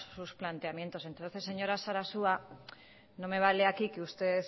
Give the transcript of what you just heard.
sus planteamientos entonces señora sarasua no me vale aquí que usted